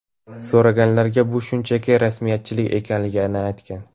So‘raganlarga bu shunchaki rasmiyatchilik ekanligini aytgan.